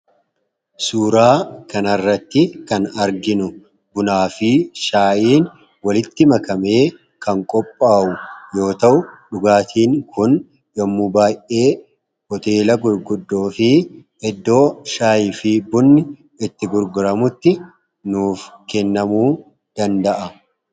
Suuraa kanarratti kan arginu bunaa fi shaayiin walitti makamee kan qophaawu yoo ta'u dhugaatiin kun yommu baay'ee hoteela gurguddoo fi eddoo shaayi fi bunni itti gurguramutti nuuf kennamuu danda'a.